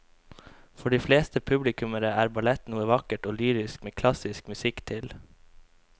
For de fleste publikummere er ballett noe vakkert og lyrisk med klassisk musikk til.